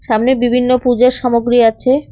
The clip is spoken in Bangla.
সামনে বিভিন্ন পুজোর সামগ্রী আছে।